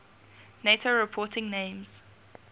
nato reporting names